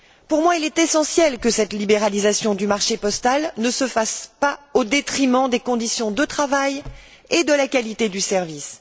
Pour moi il est essentiel que cette libéralisation du marché postal ne se fasse pas au détriment des conditions de travail et de la qualité du service.